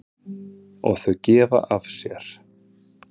Og þau gefa af sér.